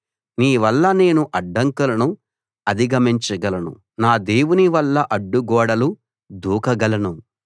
నీవల్ల నేను అడ్డంకులను అధిగమించగలను నా దేవుని వల్ల అడ్డుగోడలు దూకగలను